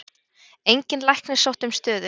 Enginn læknir sótti um stöðu